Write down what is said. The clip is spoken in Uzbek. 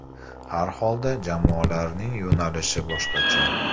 Har holda jamoalarning yo‘nalishi boshqacha.